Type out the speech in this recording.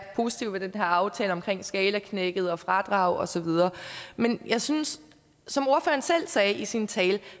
positive ved den her aftale skalaknækket fradrag og så videre men jeg synes som ordføreren selv sagde i sin tale at